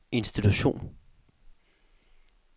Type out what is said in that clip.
institution